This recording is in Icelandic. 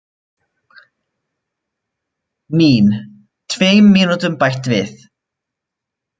Mín: Tveim mínútum bætt við.